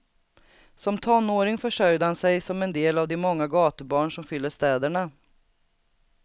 Som tonåring försörjde han sig som en del av de många gatubarn som fyller städerna.